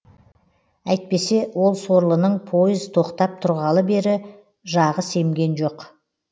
әйтпесе ол сорлының пойыз тоқтап тұрғалы бері жағы семген жоқ